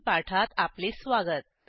वरील पाठात आपले स्वागत